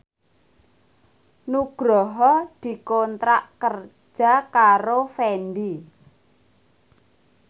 Nugroho dikontrak kerja karo Fendi